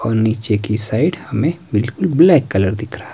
और नीचे की साइड हमें बिल्कुल ब्लैक कलर दिख रहा--